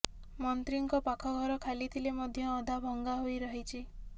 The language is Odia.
ମନ୍ତ୍ରୀଙ୍କ ପାଖ ଘର ଖାଲି ଥିଲେ ମଧ୍ୟ ଅଧା ଭଙ୍ଗା ହୋଇ ରହିଛି